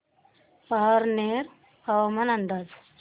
पारनेर हवामान अंदाज